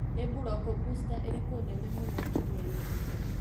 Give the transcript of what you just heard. Nĩ Buloko bũsta irĩkũ nene mũno kiumia gĩkĩ ?